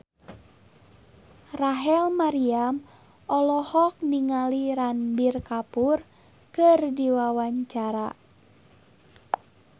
Rachel Maryam olohok ningali Ranbir Kapoor keur diwawancara